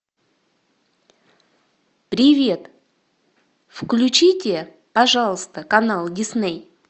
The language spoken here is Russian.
привет включите пожалуйста канал дисней